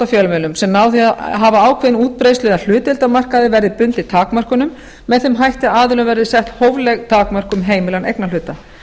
fjölmiðlum sem náði að hafa ákveðna útbreiðslu eða hlutdeild á markaði verði bundið takmörkunum með þeim hætti að aðilum yrðu sett hófleg takmörk um heimilan eignarhluta